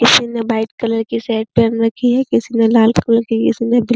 किसी ने white colour की शर्ट पहन रखी है। किसी ने लाल कलर की किसी ने --